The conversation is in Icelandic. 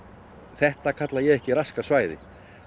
þetta kalla ég ekki raskað svæði